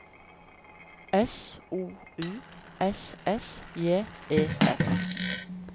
S O U S S J E F